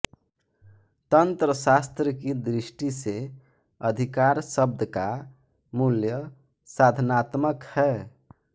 तंत्रशास्त्र की दृष्टि से अधिकार शब्द का मूल्य साधनात्मक है